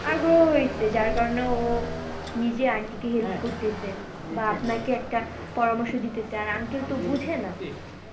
আগ্রহ হইছে, যার কারণে ও নিজে aunty কে help করতেছে, বা আপনাকে একটা পরামর্শ দিতে চায়, আর uncle তো বোঝে না।